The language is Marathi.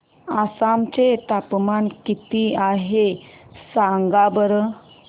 आसाम चे तापमान किती आहे सांगा बरं